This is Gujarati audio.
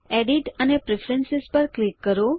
એડિટ અને પછી પ્રેફરન્સ પર ક્લિક કરો